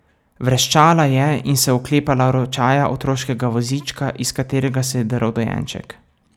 Vreščala je in se oklepala ročaja otroškega vozička, iz katerega se je drl dojenček.